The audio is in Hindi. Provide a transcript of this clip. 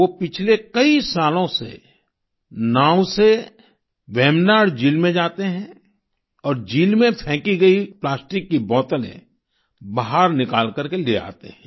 वो पिछले कई सालों से नाव से वेम्बनाड झील में जाते हैं और झील में फेंकी गई प्लास्टिक की बोतलें बाहर निकाल करके ले आते हैं